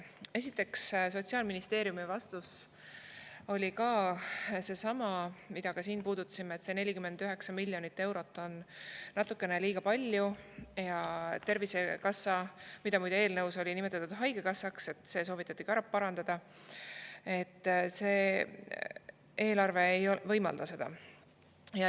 Esiteks, Sotsiaalministeeriumi vastus oli seesama, mida me siin puudutasime, et 49 miljonit eurot on natukene liiga palju ja Tervisekassa – muide, seda oli eelnõus nimetatud haigekassaks, see soovitati ära parandada – eelarve ei võimalda seda.